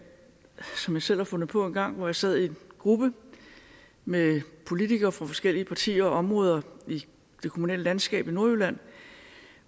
selv har fundet på engang hvor jeg sad i en gruppe med politikere fra forskellige partier og områder i det kommunale landskab i nordjylland